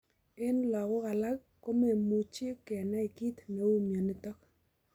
Eng' lagok alak komemuchio kenai kiit netou mionitok